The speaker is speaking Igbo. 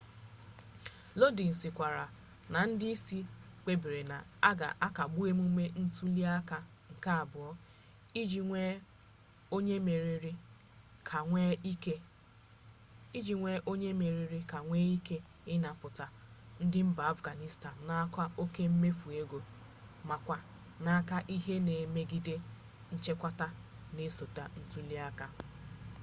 lodin sịkwara na ndị isi kpebiri na a ga akagbu emume ntuli aka nke abuo iji nwee onye mmeri ka enwee ike ịnapụta ndị mba afganistan n'aka oke mmefu ego makwa n'aka ihe na-emegide nchekwa na-esote ntuli aka